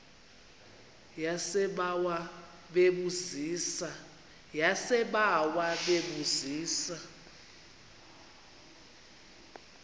yasebawa bebu zisa